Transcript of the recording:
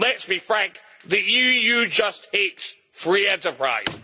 Let's be frank the EU just hates free enterprise.